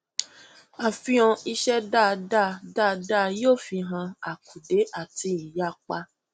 àfihàn iṣẹ dáadáa dáadáa yóò fihan àkùdé àti ìyapa